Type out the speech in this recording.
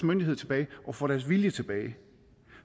myndighed tilbage og får deres vilje tilbage